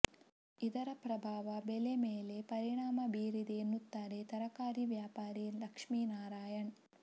ಇದರ ಪ್ರಭಾವ ಬೆಲೆ ಮೇಲೆ ಪರಿಣಾಮ ಬೀರಿದೆ ಎನ್ನುತ್ತಾರೆ ತರಕಾರಿ ವ್ಯಾಪಾರಿ ಲಕ್ಷ್ಮಿನಾರಾಯಣ್